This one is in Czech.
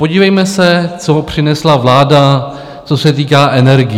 Podívejme se, co přinesla vláda, co se týká energií.